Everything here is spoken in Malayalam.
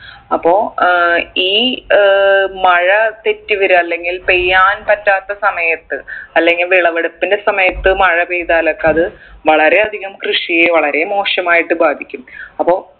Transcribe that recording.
അപ്പൊ ഏർ ഈ ഏർ മഴ തെറ്റി വരാ അല്ലെങ്കിൽ പെയ്യാൻ പറ്റാത്ത സമയത്ത് അല്ലെങ്കിൽ വിളവെടുപ്പിൻ്റെ സമയത്ത് മഴപെയ്താലൊക്കെ അത് വളരെ അധികം കൃഷിയെ വളരെ മോശമായിട്ട് ബാധിക്കും അപ്പൊ